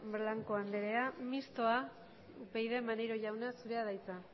blanco andrea mistoa upyd maneiro jauna zurea da hitza